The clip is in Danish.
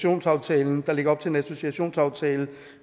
ankaraaftalen der lægger op til en associeringsaftale